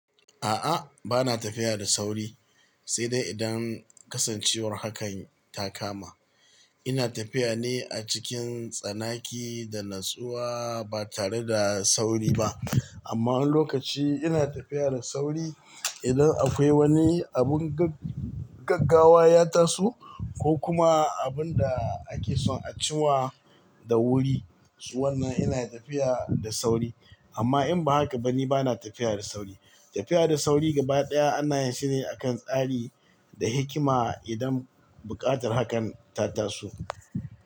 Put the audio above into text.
A'a, bana tafiya da sauri, sai dai idan kasancewar hakan ta kama. Ina tafiya ne a cikin tsanaki da natsuwa ba tare da sauri ba. Amma wani lokaci ina tafiya da sauri idan akwai wani abun gag-gaggawa ya taso ko kuma abun da ake son a ci wa. Da wuri, shi wannnan ina tafiya da sauri. Amma in ba haka ba ni bana tafiya da sauri. Tafiya da sauri gaba ɗaya ana yin shi ne a kan tsari da hikima idan buƙatar hakan ta taso.